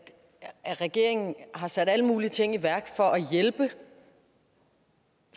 regeringen har sat alle mulige ting i værk for at hjælpe